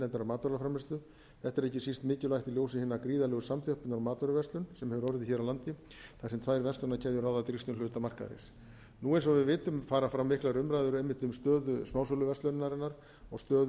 matvælaframleiðslu þetta er ekki síst mikilvægt í ljósi hinnar gríðarlegu samþjöppunar í matvöruverslun sem hefur orðið hér á landi þar sem tvær verslunarkeðjur ráða drýgstum hluta markaðarins nú eins og við vitum fara fram miklar umræður einmitt um stöðu smásöluverslunarinnar og stöðu